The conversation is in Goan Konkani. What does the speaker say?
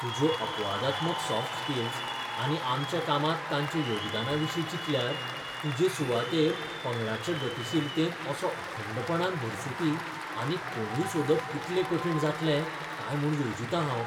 तुज्यो अपवादात्मक सॉफ्ट स्किल्स आनी आमच्या कामांत तांच्या योगदानाविशीं चिंतल्यार, तुजे सुवातेर पंगडाच्या गतीशीलतेंत असो अखंडपणान भरसुपी आनीक कोणूय सोदप कितलें कठीण जातलें काय म्हूण येवजितां हांव.